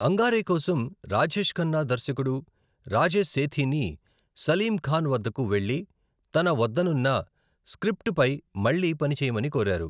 అంగారే కోసం, రాజేష్ ఖన్నా దర్శకుడు రాజేష్ సేథీని సలీం ఖాన్ వద్దకు వెళ్లి తన వద్దనున్న స్క్రిప్ట్పై మళ్లీ పని చేయమని కోరారు.